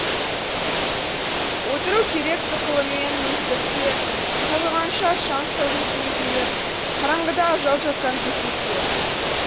отыру керек тұқылымен өлсекте қалғығанша шам сәулесі еңкейіп қараңғыда ажал жатқан төсекке